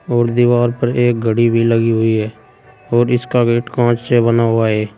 और दिवाल पर एक घड़ी भी लगी हुई हैं और इसका गेट कांच से बना हुआ है।